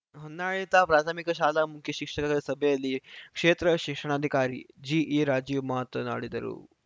ಹೊನ್ನಾಳಿ ತಾ ಪ್ರಾಥಮಿಕ ಶಾಲಾ ಮುಖ್ಯ ಶಿಕ್ಷಕರ ಸಭೆಯಲ್ಲಿ ಕ್ಷೇತ್ರ ಶಿಕ್ಷಣಾಧಿಕಾರಿ ಜಿಇ ರಾಜೀವ್‌ ಮಾತನಾಡಿದರು